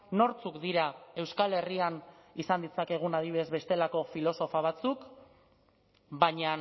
nortzuk dira euskal herrian izan ditzakegun adibidez bestelako filosofa batzuk baina